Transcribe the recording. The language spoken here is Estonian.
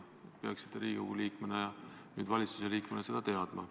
Te peaksite endise Riigikogu liikmena ja nüüd valitsuse liikmena seda teadma.